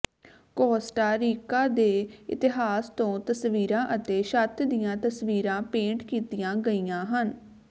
Costa Rica ਦੇ ਇਤਿਹਾਸ ਤੋਂ ਤਸਵੀਰਾਂ ਅਤੇ ਛੱਤ ਦੀਆਂ ਤਸਵੀਰਾਂ ਪੇਂਟ ਕੀਤੀਆਂ ਗਈਆਂ ਹਨ